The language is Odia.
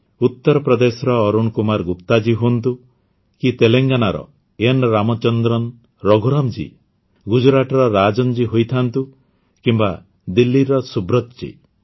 ଉତ୍ତରପ୍ରଦେଶର ଅରୁଣ କୁମାର ଗୁପ୍ତା ହୁଅନ୍ତୁ କି ତେଲଙ୍ଗାନାର ଏନ୍ରାମଚନ୍ଦ୍ରନ ରଘୁରାମ୍ ଜୀ ଗୁଜରାଟର ରାଜନ୍ ଜୀ ହୋଇଥାଆନ୍ତୁ କିମ୍ବା ଦିଲ୍ଲୀର ସୁବ୍ରତ୍ ଜୀ